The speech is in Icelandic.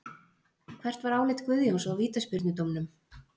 Hvert var álit Guðjóns á vítaspyrnudómnum?